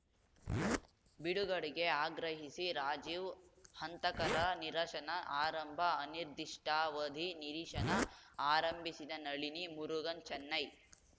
ಬಿಡುಗಡೆಗೆ ಆಗ್ರಹಿಸಿ ರಾಜೀವ್‌ ಹಂತಕರ ನಿರಶನ ಆರಂಭ ಅನಿರ್ದಿಷ್ಟಾವಧಿ ನಿರಿಶನ ಆರಂಭಿಸಿದ ನಳಿನಿ ಮುರುಗನ್‌ ಚೆನ್ನೈ